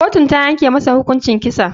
Kotun tayanke masa hukuncin kisa.